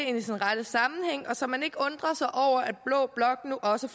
ind i sin rette sammenhæng og så man ikke undrer sig over at blå blok nu også